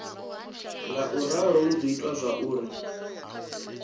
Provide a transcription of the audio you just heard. ngauralo hu do ita zwauri